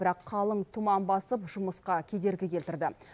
бірақ қалың тұман басып жұмысқа кедергі келтірді